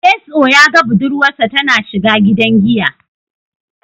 Getso ya ga budurwarsa tana shiga gidan giya.